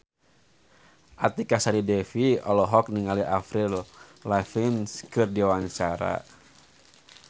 Artika Sari Devi olohok ningali Avril Lavigne keur diwawancara